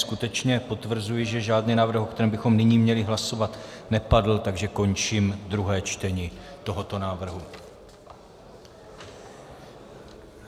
Skutečně potvrzuji, že žádný návrh, o kterém bychom nyní měli hlasovat, nepadl, takže končím druhé čtení tohoto návrhu.